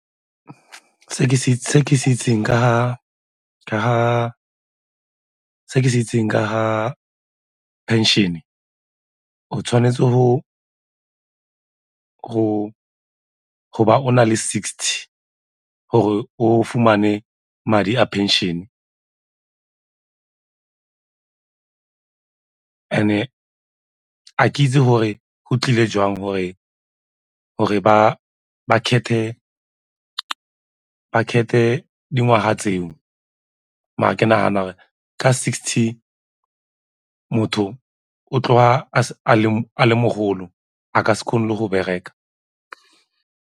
Se ke se itseng ka ga phenšene, o tshwanetse go ba o na le sixty gore o fumane madi a phenšene and-e a ke itse gore go tlile jang gore ba kgethe dingwaga tseo mare ke nagana gore ka sixty motho o tloga a le mogolo a ka se kgone le go bereka.